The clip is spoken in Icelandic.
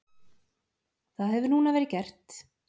Það hefur núna verið gert.